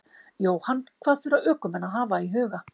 Jóhann: Hvað þurfa ökumenn að hafa í huga?